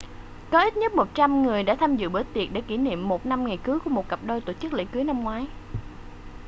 có ít nhất 100 người đã tham dự bữa tiệc để kỷ niệm một năm ngày cưới của một cặp đôi tổ chức lễ cưới năm ngoái